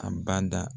A bada